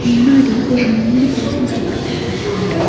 முன்னாடி ஒரு மூணு பர்சன்ஸ் இருக்கற்த பாக்க முடியுது.